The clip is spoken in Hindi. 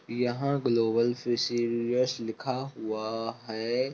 यहाँ ग्लोबल फिशरियस लिखा हुआ है ।